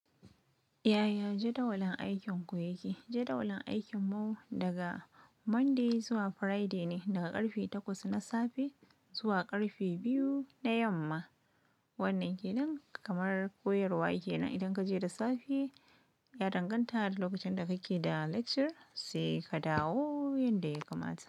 Yaya jadawalin aikinku yake? Jadawalin aikin mu daga Monday zuwa Friday ne, daga karfe takwas na safe zuwa karfe biyu na yamma. Wannan kenan kamar koyarwa yake nan. Idan ka je da safe, ya danganta da lokacin da kake da lecture, sai ka dawo yanda ya kamata.